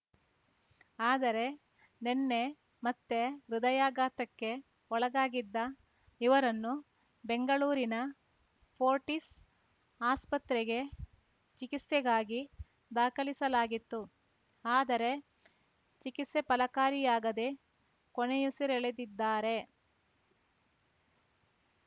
ಆದರೆ ನಿನ್ನೆ ಮತ್ತೆ ಹೃದಯಾಘಾತಕ್ಕೆ ಒಳಗಾಗಿದ್ದ ಇವರನ್ನು ಬೆಂಗಳೂರಿನ ಪೋರ್ಟಿಸ್ ಆಸ್ಪತ್ರೆಗೆ ಚಿಕಿತ್ಸೆಗಾಗಿ ದಾಖಲಿಸಲಾಗಿತ್ತು ಆದರೆ ಚಿಕಿತ್ಸೆ ಫಲಕಾರಿಯಾಗದೆ ಕೊನೆಯುಸಿರೆಳೆದಿದ್ದಾರೆ